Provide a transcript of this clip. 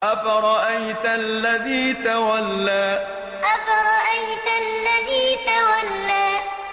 أَفَرَأَيْتَ الَّذِي تَوَلَّىٰ أَفَرَأَيْتَ الَّذِي تَوَلَّىٰ